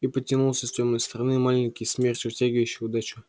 и подтянулся с тёмной стороны маленький смерч вытягивающий удачу